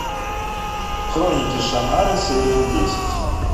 хроники шаннары серия десять